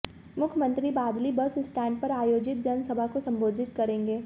मुख्यमंत्री Badli bus stand पर आयोजित जनसभा को संबोधित करेंगे